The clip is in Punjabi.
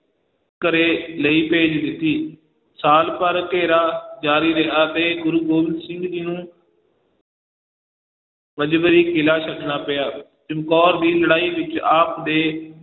ਘਰੇ ਲਈ ਭੇਜ ਦਿੱਤੀ ਸਾਲ ਭਰ ਘੇਰਾ ਜਾਰੀ ਰਿਹਾ ਤੇ ਗੁਰੂ ਗੋਬਿੰਦ ਸਿੰਘ ਜੀ ਨੂੰ ਮਜਬਰੀ ਕਿਲ੍ਹਾ ਛੱਡਣਾ ਪਿਆ, ਚੰਮਕੌਰ ਦੀ ਲੜਾਈ ਵਿੱਚ ਆਪ ਦੇ